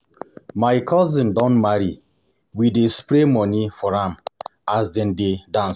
My cousin don marry, we dey spray money for am as dem dey dance.